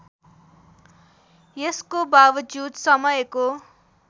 यसको बावजुद समयको